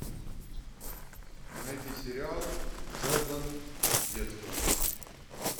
найди сериал шелдон детство